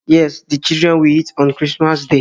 Yes, the children will eat on Christmas day